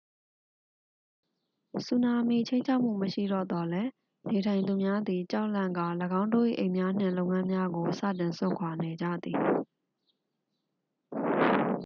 ဆူနာမီချိန်းခြောက်မှု မရှိတော့သော်လည်း နေထိုင်သူများသည် ကြောက်လန့်ကာ ၎င်းတို့၏ အိမ်များနှင့် လုပ်ငန်းများကို စတင်စွန့်ခွာနေကြသည်